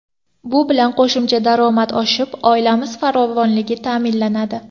Bu bilan qo‘shimcha daromad oshib, oilamiz farovonligi ta’minlanadi.